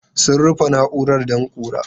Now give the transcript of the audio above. Sun rufe na'urar don ƙura.